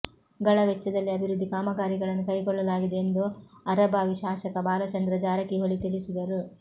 ಗಳ ವೆಚ್ಚದಲ್ಲಿ ಅಭಿವೃದ್ಧಿ ಕಾಮಗಾರಿಗಳನ್ನು ಕೈಗೊಳ್ಳಲಾಗಿದೆ ಎಂದು ಅರಭಾವಿ ಶಾಸಕ ಬಾಲಚಂದ್ರ ಜಾರಕಿಹೊಳಿ ತಿಳಿಸಿದರು